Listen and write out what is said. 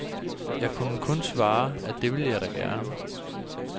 Jeg kunne kun svare, at det ville jeg da gerne.